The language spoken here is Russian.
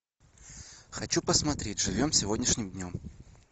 хочу посмотреть живем сегодняшним днем